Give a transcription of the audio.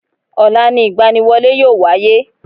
Ọ̀la ni ìgbaniwọlé yíò wáyé